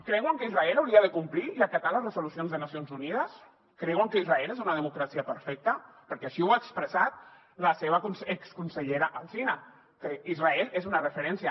creuen que israel hauria de complir i acatar les resolucions de nacions unides creuen que israel és una democràcia perfecta perquè així ho ha expressat la seva exconsellera alsina que israel és una referència